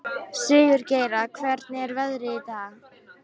Sigurgeira, hvernig er veðrið í dag?